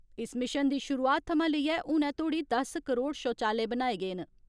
इस मिशन दी शुरुआत थमां लेइयै हुनै धोड़ी दस करोड़ शौचालय बनाये गे न।